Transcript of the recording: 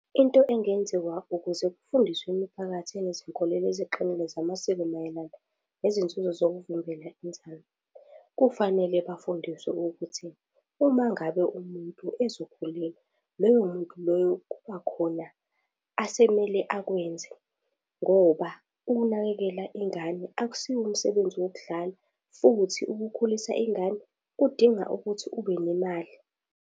Into engenziwa ukuze kufundiswe imiphakathi enezinkolelo eziqinile zamasiko mayelana nezinzuzo zokuvimbela inzalo. Kufanele bafundiswe ukuthi uma ngabe umuntu ezokhulelwa loyo muntu loyo kubakhona asemele akwenze ngoba ukunakekela ingane akusiwo umsebenzi wokudlala futhi ukukhulisa ingane kudinga ukuthi ubenemali.